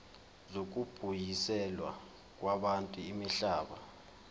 zokubuyiselwa kwabantu imihlaba